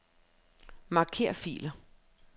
Marker filer.